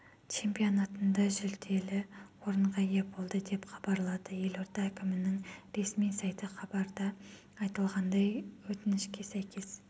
чемпионатында жүлделі орынға ие болды деп хабарлады елорда әкімінің ресми сайты хабарда айтылғандай өөтінішке сәйкес